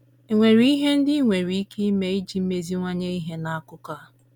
È nwere ihe ndị i nwere ike ime iji meziwanye ihe n’akụkụ a?